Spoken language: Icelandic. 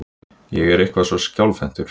Ég er eitthvað svo skjálfhentur.